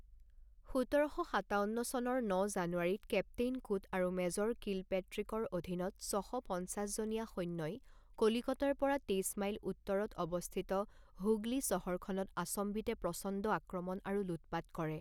সোতৰ শ সাতাৱন্ন চনৰ ন জানুৱাৰীত কেপ্তেইন কুট আৰু মেজৰ কিলপেট্ৰিকৰ অধীনত ছশ পঞ্চাছ জনীয়া সৈন্যই কলিকতাৰ পৰা তেইছ মাইল উত্তৰত অৱস্থিত হুগলী চহৰখনত আচম্বিতে প্ৰচণ্ড আক্ৰমণ আৰু লুটপাত কৰে।